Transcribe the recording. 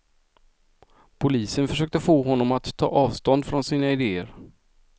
Polisen försökte få honom att ta avstånd från sina idéer.